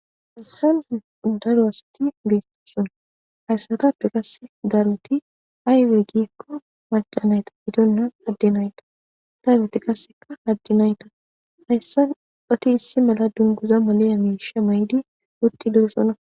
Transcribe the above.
Haysan dadowassati gistooson hayssatappe qasse daruti aywe gikko maca nayta bidonna adde nayta taywoti qasseka haddi nayta hayssan oti issi mala dunguza molena miisha maydi utti leesona.